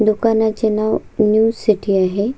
दुकानाचे नाव new city आहे.